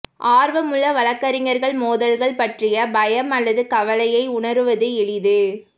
ஆர்வமுள்ள வழக்கறிஞர் மோதல்கள் பற்றிய பயம் அல்லது கவலையை உணருவது எளிது